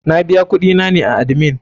Na biya kuɗi na ne a admin.